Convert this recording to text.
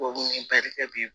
Tubabu ni barika bi